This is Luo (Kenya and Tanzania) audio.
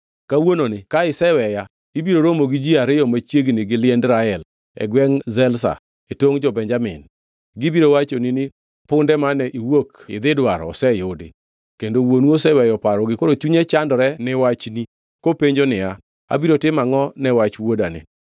Kawuononi ka iseweya ibiro romo gi ji ariyo machiegni gi liend Rael e gwengʼ Zelza e tongʼ jo-Benjamin. Gibiro wachoni ni, ‘Punde mane iwuok idhi dwaro oseyudi. Kendo wuonu oseweyo parogi koro chunye chandore ni wachne kopenjo niya, “Abiro timo angʼo ne wach wuodani?” ’